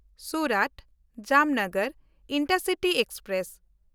ᱥᱩᱨᱟᱛ–ᱡᱟᱢᱱᱚᱜᱚᱨ intercity express